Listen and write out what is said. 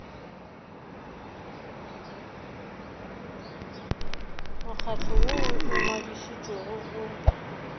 mokgatlo woo o ngwadišitšwego go